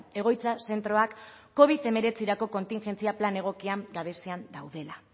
egoitza zentroak covid hemeretzirako kontingentzia plan egokien gabezian daudela